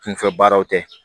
Kunfɛ baaraw tɛ